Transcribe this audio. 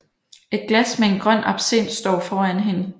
Et glas med en grøn absint står foran hende